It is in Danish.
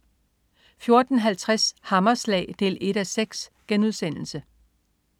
14.50 Hammerslag 1:6*